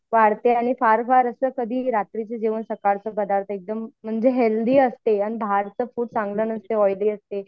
आणि कधीही असो रात्रीचं जेवण सकाळचं पदार्थ एकदम म्हणजे हेल्थी असते अन बाहेरचं फूड चांगलं नसते ऑईली असते.